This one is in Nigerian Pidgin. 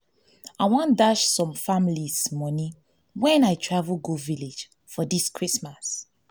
i wan dash some families money wen i travel go village for dis christmas